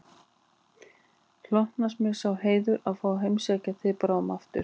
Hlotnast mér sá heiður að fá að heimsækja þig bráðum aftur